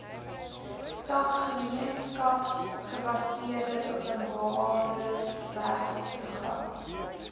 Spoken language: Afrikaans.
tak gemeenskapsgebaseerde openbarewerkeprogramme